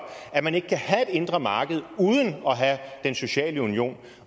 at man ikke kan have et indre marked uden at have den sociale union